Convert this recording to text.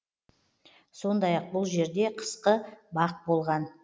сондай ақ бұл жерде қысқы бақ болған